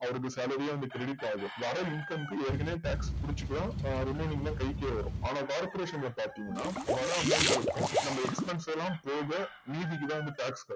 அவருக்கு salary யே வந்து creadit ஆஹும் வர income க்கு ஏற்கனவே tax புடுச்சுட்டும் remaining ல கழிச்சு வரும் ஆனா corporation ல பாத்திங்கனா வர amount இருக்கும் நம்ம expensive லா போக மீதிக்குதா வந்து tax